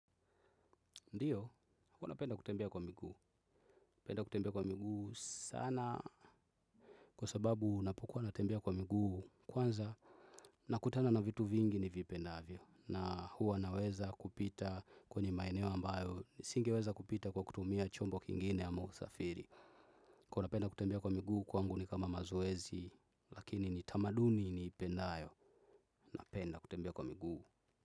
Ndio, huwa napenda kutembea kwa miguu. Penda kutembea kwa miguu sana. Kwa sababu napokuwa natembea kwa miguu, kwanza, na kutana na vitu vingi ni vipendavyo. Na huwa naweza kupita kwenye maeneo ambayo. Nisingeweza kupita kwa kutumia chombo kingine amo usafiri. Kaa unapenda kutembea kwa miguu kwangu ni kama mazoezi. Lakini ni tamaduni ni ipendayo. Napenda kutembea kwa miguu.